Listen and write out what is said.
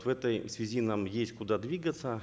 в этой связи нам есть куда двигаться